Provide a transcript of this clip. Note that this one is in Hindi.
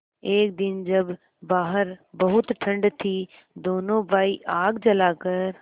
एक दिन जब बाहर बहुत ठंड थी दोनों भाई आग जलाकर